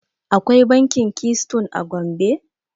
Akwai bankin Keystone a Gombe.